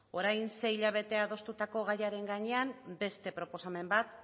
orain sei hilabete adostutako gaiaren gainean beste proposamen bat